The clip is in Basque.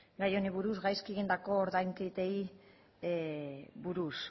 gai honi buruz gaizki egindako ordainketei buruz